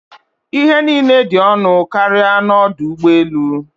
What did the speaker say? Ihe niile dị ọnụ karịa n'ọdụ ụgbọ elu.